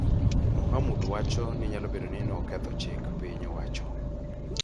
Mohamud wacho ni nyalo bedo ni noketho chik piny owacho,